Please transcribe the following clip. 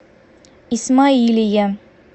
исмаилия